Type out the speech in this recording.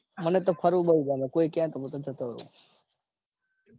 મને તો ફરવું બૌ ગમે. કોઈ કે તો હું જતો રાઉ.